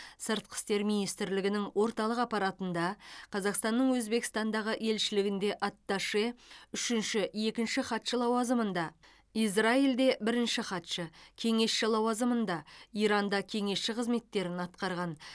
сыртқы істер министрлігінің орталық аппаратында қазақстанның өзбекстандағы елшілігінде атташе үшінші екінші хатшы лауазымында израильде бірінші хатшы кеңесші лауазымында иранда кеңесші қызметтерін атқарған